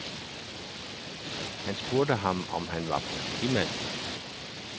Han spurgte ham, om han var politimand.